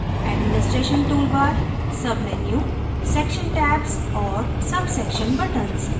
administration toolbar submenu section tabs और subsection buttons